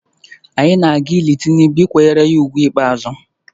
Anyị na-aga ili Tinubu ịkwanyere ya ugwu ikpeazụ